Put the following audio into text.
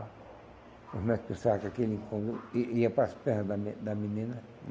Os médicos achavam que aquele incômodo i ia para as pernas da da menina.